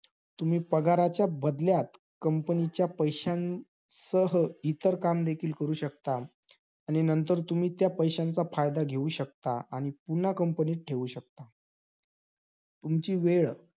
एकोणीशे छपन्न्न् मध्ये या विभागाला अनुऊर्जनावर चालणारी भारतातील पहिली अनुभट्टी अर्थात